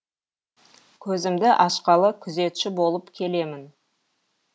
көзімді ашқалы күзетші болып келемін